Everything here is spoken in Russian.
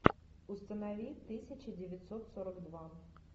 установи тысяча девятьсот сорок два